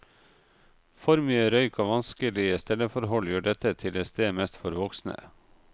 For mye røyk og vanskelige stelleforhold gjør dette til et sted mest for voksne.